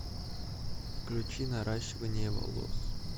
включи наращивание волос